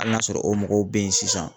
Ali n'a sɔrɔ o mɔgɔw be yen sisan